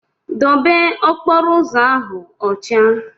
Debe okporo ụzọ ahụ ọcha!